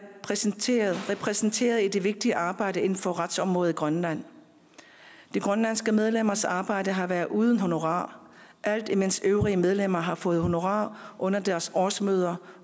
repræsenteret repræsenteret i det vigtige arbejde inden for retsområdet i grønland de grønlandske medlemmers arbejde har været uden honorar alt imens øvrige medlemmer har fået honorar under deres årsmøder